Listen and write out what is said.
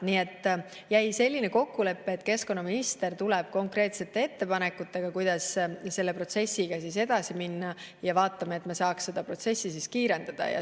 Nii et jäi selline kokkulepe, et keskkonnaminister tuleb konkreetsete ettepanekutega, kuidas selle protsessiga edasi minna ja me püüame seda protsessi kiirendada.